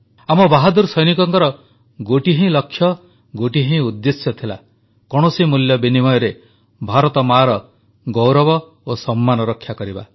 ଆମ ବାହାଦୂର ସୈନିକଙ୍କର ଗୋଟିଏ ହିଁ ଲକ୍ଷ୍ୟ ଓ ଗୋଟିଏ ହିଁ ଉଦ୍ଦେଶ୍ୟ ଥିଲା କୌଣସି ମୂଲ୍ୟ ବିନିମୟରେ ଭାରତମାଆର ଗୌରବ ଓ ସମ୍ମାନ ରକ୍ଷା କରିବା